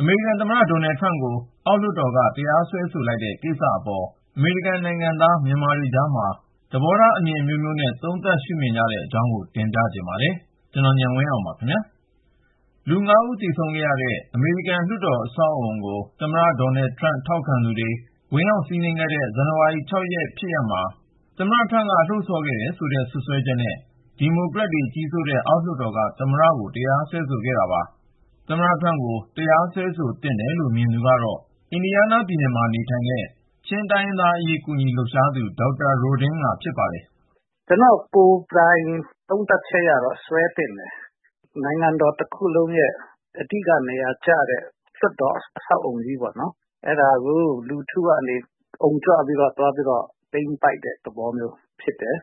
အမေရိကန်သမ္မတ ဒေါ်နယ်ထရမ့်ကို အောက်လွှတ်တော်က တရားစွဲဆိုလိုက်တဲ့ကိစ္စအပေါ် အမေရိကန်နိုင်ငံသား မြန်မာတွေကြားမှာ သဘောထားအမြင်အမျိုးမျိုးနဲ့ သုံးသပ် ရှုမြင်ကြတဲ့အကြောင်းကိုဉာဏ်ဝင်းအောင်က စုစည်းတင်ပြ ထားပါတယ်။ လူ(၅)ဦး သေဆုံးခဲ့ရတဲ့ အမေရိကန်လွှတ်တော် အဆောက်အဦးကို သမ္မတ ထရမ့်ထောက်ခံသူတွေ ဝင်ရောက်စီးနင်းခဲ့တဲ့ ဇန်နဝါရီ ၆ ရက်နေ့ဖြစ်ရပ်မှာ သမ္မတထရမ့်က လှုံ့ဆော်ခဲ့တယ်ဆိုတဲ့ စွပ်စွဲချက်နဲ့ ဒီမိုကရက်တွေ ကြီးစိုးတဲ့ အောက်လွှတ်တော်က သမ္မတကို တရားစွဲဆိုခဲ့တာပါ။ သမ္မတ ထရမ့်ကို တရားစွဲသင့်တယ်လို့ မြင်သူကတော့ အင်ဒီယားနားပြည်နယ်မှာ နေထိုင်တဲ့ ချင်းတိုင်းရင်းသားအရေး ကူညီလှုပ်ရှားသူ ဒေါက်တာ ရိုဒင်းငါ ဖြစ်ပါတယ်။ “ကျနော့် ကိုယ်ပိုင်သုံးသပ်ချက်ကတော့ တရားစွဲသင့်တယ်။ နိုင်ငံတော်တခုလုံးရဲ့ အဓိကကျတဲ့ နေရာဖြစ်တဲ့ လွှတ်တော်အဆောက်အဦကြီးကိုပေါ့နော် လူထုကနေ သွားပြီးတော့ အုံကြွပြီး သိမ်းပိုက်တဲ့ သဘောမျိုးမှာ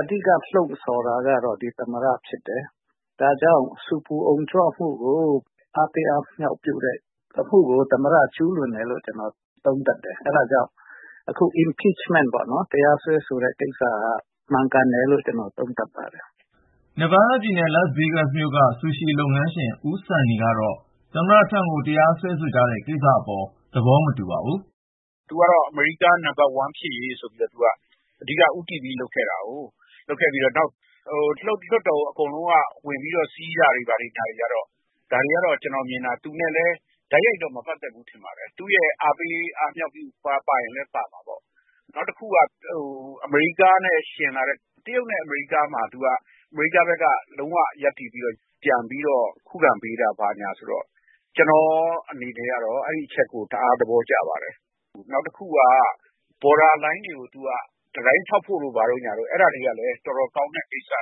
အဓိက လှုံ့ဆော်တာက ဒီသမ္မတဖြစ်တယ်။ ဒါကြောင့် ဆူပူအုံကြွမှုကို အားပေးအားမြှောက်ပြုတဲ့အမှုကို သမ္မတ ကျူးလွန်တယ်လို့ ကျနော်သုံးသပ်တယ်။ အဲဒါကြောင့် အခု Impeachment ပေါ့ ၊ တရားစွဲဆိုတဲ့ကိစ္စက မှန်ကန်တယ်လို့ ကျနော်သုံးသပ်ပါတယ်။” Nevada ပြည်နယ် Las Vegas မြို့က ဆူရှီလုပ်ငန်းရှင် ဦးဆန်နီကတော့ သမ္မတထရမ့်ကို တရားစွဲဆိုကြတဲ့ကိစ္စအပေါ် သဘောမတူပါဘူး။ “သမ္မတထရမ့်ကတော့ အမေရိကား နံပတ်တစ် ဖြစ်ရေးဆိုပြီးတော့ အဓိကဦးတည်ပြီး သူလုပ်ခဲ့တာကိုး။ လွှတ်တော်ကို အကုန်လုံးက ဝင်စီးတာတွေ ဘာတွေက.. ဒါတွေက အားပေးတာပါချင်ပါနိုင်ပေမယ့် သူနဲ့လည်း တိုက်ရိုက်တော့ မပတ်သက်ဘူး ထင်ပါတယ်။ နောက်တခုက အမေရိကားကို ယှဉ်လာတဲ့ တရုတ်နဲ့ကိစ္စမှာ သူက အမေရိကန်ဘက်က ရပ်တည်ပြီး ပြန်ပြီးခုခံပေးတာ ဘာညာရှိတော့ ကျနော့်အနေနဲ့ အဲဒီအချက်ကို တအား သဘောကျပါတယ်။ နောက်တခုက နယ်စပ်မှာ တံတိုင်းဆောက်တဲ့ကိစ္စ ဘာညာက တော်တော်ကောင်းတဲ့ကိစ္စပါ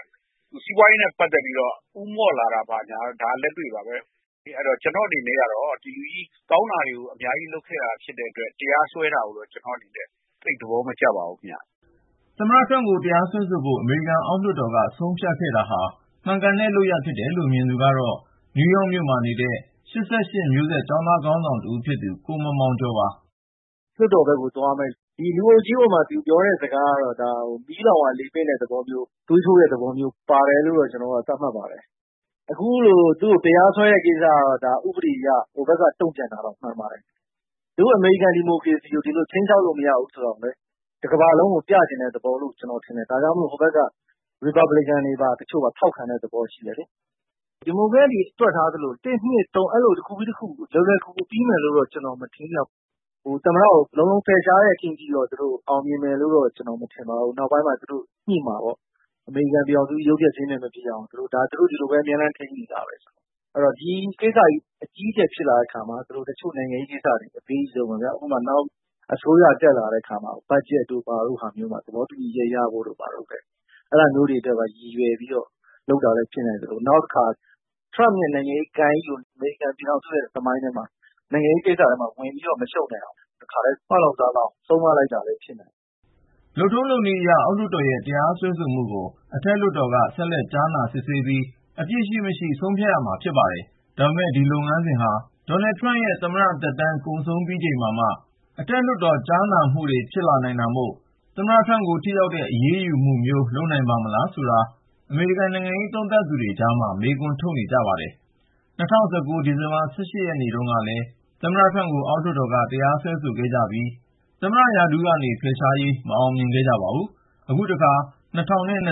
။ စီးပွားရေးနဲ့ ပတ်သက်ပြီးတော့ ဦးမော့လာတာ ဘာညာကတော့ လက်တွေ့ပါပဲ။ ဒီလို ကောင်းတာတွေကို သူအများကြီးလုပ်ခဲ့တာ ဖြစ်တဲ့အတွက် သမ္မတအပေါ် တရားစွဲတာကိုတော့ ကျနော့်အနေနဲ့ သိပ်သဘောမကျပါဘူးခင်ဗျ။” သမ္မတထရမ့်ကို တရားစွဲဆိုဖို့ အမေရိကန် အောက်လွှတ်တော်က ဆုံးဖြတ်ခဲ့တာဟာ မှန်ကန်တဲ့ လုပ်ရပ်လို့ မြင်သူကတော့ နယူးယောက်မြို့မှာ နေတဲ့ ၈၈ မျိုးဆက် ကျောင်းသားခေါင်းဆောင်တဦး ဖြစ်သူ ကိုမောင်မောင်ကျော်ပါ။ “ လွှတ်တော်ဘက်ကိုသွားမယ့် ဒီလူအုပ်ကြီးပေါ်မှာ သူပြောတဲ့စကားတွေကတော့ မီးလောင်ရာလေပင့်တဲ့ သဘောမျိုး ၊ သွေးထိုးပေးတဲ့ သဘောမျိုး ပါတယ်လို့တော့ ကျနော်က သတ်မှတ်တယ်။ အခုလို သူ့ကို တရားစွဲတဲ့ကိစ္စက ဥပဒေအရ ဒီမိုကရက်တွေဘက်က တုန့်ပြန်တာ မှန်ပါတယ်။ ဒို့အမေရိကန် ဒီမိုကရေစီကို ဒီလိုခြိမ်းခြောက်လို့ မရဘူးဆိုတာ တကမ္ဘာလုံးကိုပြချင်တဲ့ သဘောမျိုးလို့ ကျနော်ထင်တယ်။ ဒါကြောင့်မို့ အောက်လွှတ်တော်မှာ ရီပတ်ဘလစ်ကန်ဘက်ကပါ ထောက်ခံတာမျိုး ရှိတယ်လေ။ ဒီမိုကရက်တွေ တွက်ထားသလို ၁-၂-၃ အဲလို တခုပြီးတခု လွယ်လွယ်ကူကူ ပြီးမယ်လို့တော့ ကျနော် မထင်ဘူးဗျ ။ သမ္မတကို လုံးလုံး ဖယ်ရှားဖို့ အောင်မြင်မယ်လို့တော့ မထင်ပါဘူး။ အမေရိကန်ပြည်ထောင်စုကြီး ရုပ်ပျက်ဆင်းပျက် မဖြစ်ရအောင် နောက်ပိုင်းမှာ ညှိမှာပေါ့ ဒါသူတို့ဒီလိုပဲ ထိန်းညှိနေတာပဲလေ။ အဲဒီတော့ ဒီကိစ္စကြီး အကြီးကျယ်ဖြစ်လာတဲ့အခါမှာ တချို့နိုင်ငံရေးကိစ္စတွေ အပေးအယူ လုပ်လာနိုင်တယ်။ ဥပမာ နောက်အစိုးရတက်လာတဲ့အခါမှာ ဘတ်ဂျက်ကိစ္စ အပေးယူလုပ်လာတာမျိုးလည်း ဖြစ်နိုင်သလို၊ နောက်တခါ ထရမ့်ရဲ့ နိုင်ငံရေးဂိုဏ်းကြီးကို အမေရိကန်ပြည်ထောင်စုသမိုင်းထဲမှာ နိုင်ငံရေးကိစ္စတွေ ဝင်မရှုပ်နိုင်အောင် တားမြစ်လိုက်တာမျိုးလည်း ဖြစ်နိုင်ပါတယ်။” လုပ်ထုံးလုပ်နည်းအရ အောက်လွှတ်တော်ရဲ့ တရားစွဲဆိုမှုကို အထက်လွှတ်တော်က ဆက်လက်ကြားနာ စစ်ဆေးပြီး အပြစ်ရှိမရှိ ဆုံးဖြတ်ရမှာဖြစ်ပါတယ်။ ဒါပေမဲ့ ဒီလုပ်ငန်းစဉ်ဟာ ဒေါ်နယ်ထရမ့်ရဲ့ သမ္မတသက်တမ်း ကုန်ဆုံးပြီးချိန်မှာမှ အထက်လွှတ်တော် ကြားနာမှုတွေ ဖြစ်လာနိုင်တာမို့ သမ္မတ ထရမ့်ကို ထိရောက်တဲ့ အရေးယူမှုမျိုး လုပ်နိုင်ပါ့မလားဆိုတာ အမေရိကန်နိုင်ငံရေး သုံးသပ်သူတွေကြား မေးခွန်းထုတ်နေကြပါတယ်။ ၂၀၁၉ ဒီဇင်ဘာလ ၁၈ ရက်နေ့တုန်းကလည်း သမ္မတထရမ့်ကို အောက်လွှတ်တော်က တရားစွဲခဲ့ကြပြီး သမ္မတရာထူးကနေ ဖယ်ရှားဖို့ မအောင်မြင်ခဲ့ကြပါဘူး။ အခုတခါ ၂၀၂၁ ခု ဇန်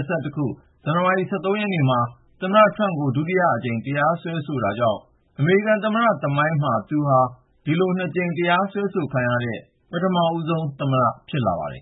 နဝါရီလ ၁၃ ရက်နေ့မှာ သမ္မတထရမ့်ကို ဒုတိယအကြိမ် တရားစွဲဆိုတာကြောင့် အမေရိကန်သမ္မတ သမိုင်းမှာ သူဟာ ၂ ကြိမ် တရားစွဲဆိုခံရတဲ့ ပထမဦးဆုံးသော သမ္မတ ဖြစ်လာပါတယ်